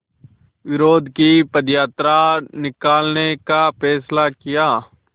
विरोध की पदयात्रा निकालने का फ़ैसला किया